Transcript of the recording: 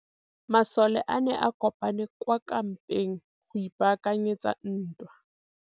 Masole a ne a kopane kwa kampeng go ipaakanyetsa ntwa.